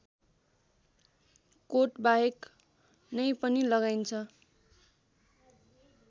कोटबाहेक नै पनि लगाइन्छ